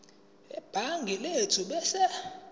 sebhangi lethu ebese